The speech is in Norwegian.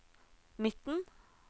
midten